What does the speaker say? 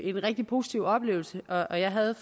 en rigtig positiv oplevelse og jeg havde